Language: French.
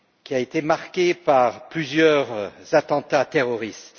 a été marqué par plusieurs attentats terroristes.